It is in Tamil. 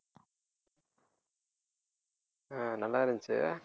ஆஹ் நல்லா இருந்துச்சு